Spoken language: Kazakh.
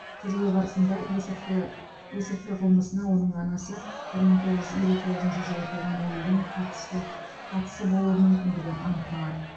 тергеу барысында есірткі есірткі қылмысына оның анасы бір мың тоғыз жүз елу тоғызыншы жылы туған әйелдің қатысты қатысы болуы мүмкіндігі анықталады